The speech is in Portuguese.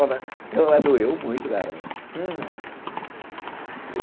Doeu muito, garoto.